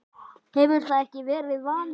hefur það ekki verið vaninn?